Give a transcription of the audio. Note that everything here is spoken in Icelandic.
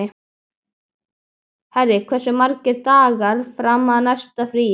Harry, hversu margir dagar fram að næsta fríi?